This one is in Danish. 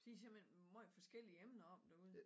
De simpelthen meget forskellige emner op derude